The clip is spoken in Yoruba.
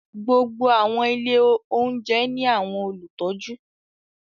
Gbogbo awọn ilé oúnjẹ ni awọn olutọju